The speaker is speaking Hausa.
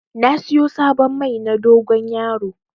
Na siyo sabon Mai na dogon yaro